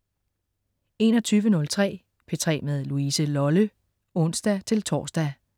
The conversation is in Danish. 21.03 P3 med Louise Lolle (ons-tors)